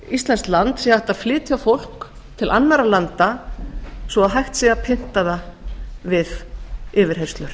íslenskt land sé hægt að flytja fólk til annarra landa svo að hægt sé að kynna það við yfirheyrslur